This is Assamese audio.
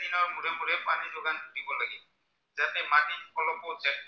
অলপত যায়